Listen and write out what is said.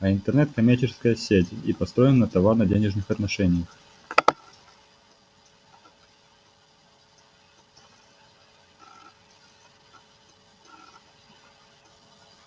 а интернет коммерческая сеть и построена на товарно-денежных отношениях